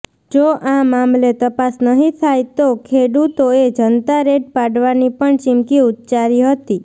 જો આ મામલે તપાસ નહીં થાય તો ખેડૂતોએ જનતા રેડ પાડવાની પણ ચિમકી ઉચ્ચારી હતી